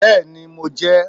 Bẹ́ẹ̀ni, mo jẹ́ ẹ